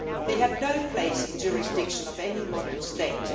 They have no place in the jurisdiction of any modern state.